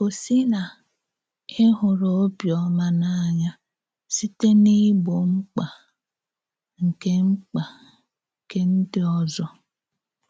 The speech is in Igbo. Gòsì na ị hùrù òbíọ́má n’ànỳà sị̀tè n’ìgbò mmkpa nke mmkpa nke ǹdí òzò.